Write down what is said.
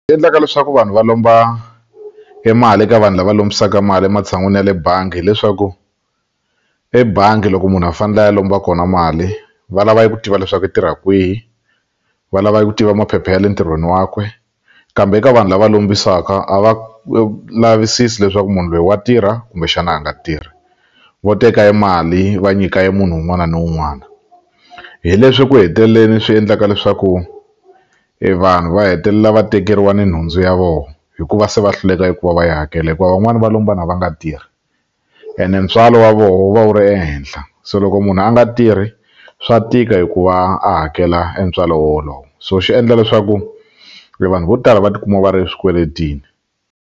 Endlaka leswaku vanhu va lomba emali eka vanhu lava lombisaka mali ematshan'wini ya le bangi hileswaku ebangi loko munhu a fanele a ya lomba kona mali va lava eku tiva leswaku i tirha kwihi va lava eku tiva maphepha ya le ntirhweni wakwe kambe eka vanhu lava lombisaka a va lavisisi leswaku munhu lweyi wa tirha kumbexana a nga tirhi vo teka emali va nyika emunhu wun'wana ni wun'wana hi leswi ku heteleleni swi endlaka leswaku e vanhu va hetelela va tekeriwa ni nhundzu ya vo hikuva se va hluleka eku va va yi hakela hikuva van'wani va lombana va nga tirhi ene ntswalo wa voho wu va wu ri ehenhla se loko munhu a nga tirhi swa tika eku va a hakela entswalo wo wolowo so xi endla leswaku e vanhu vo tala va tikuma va ri swikweletini.